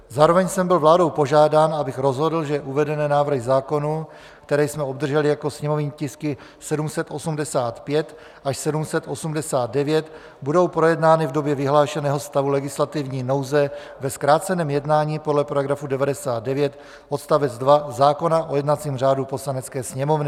Zároveň jsem byl vládou požádán, abych rozhodl, že uvedené návrhy zákonů, které jsme obdrželi jako sněmovní tisky 785 až 789, budou projednány v době vyhlášeného stavu legislativní nouze ve zkráceném jednání podle § 99 odst. 2 zákona o jednacím řádu Poslanecké sněmovny.